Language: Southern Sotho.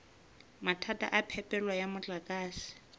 mathata a phepelo ya motlakase